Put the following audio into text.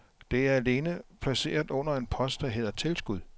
Det er alene placeret under en post, der hedder tilskud.